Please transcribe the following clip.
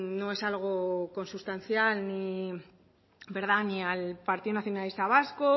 no es algo consustancial ni al partido nacionalista vasco